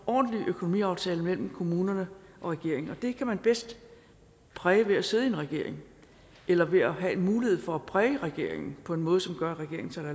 ordentlig økonomiaftale mellem kommunerne og regeringen og det kan man bedst præge ved at sidde i en regering eller ved at have en mulighed for at præge regeringen på en måde som gør at regeringen tager